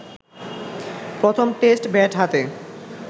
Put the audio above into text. প্রথম test bat হাতে